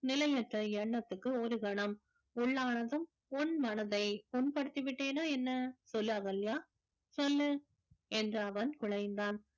நிலையற்ற எண்ணத்துக்கு ஒருகணம் உள்ளானதும் உன் மனதை புண்படுத்தி விட்டேனா என்ன சொல்லு அகல்யா சொல்லு என்று அவன் குழைந்தான்